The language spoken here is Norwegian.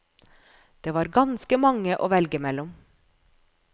Det var ganske mange å velge mellom.